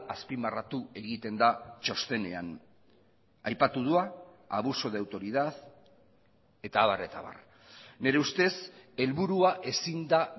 azpimarratu egiten da txostenean aipatu da abuso de autoridad eta abar eta abar nire ustez helburua ezin da